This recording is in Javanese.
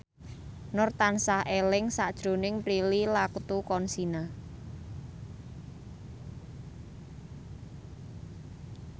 Nur tansah eling sakjroning Prilly Latuconsina